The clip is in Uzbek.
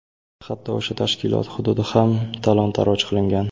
Hatto o‘sha tashkilot hududi ham talon-toroj qilingan.